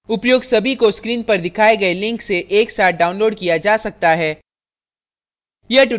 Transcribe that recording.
उपर्युक्त सभी को screen पर दिखाये गये link से एक साथ downloaded किया जा सकता है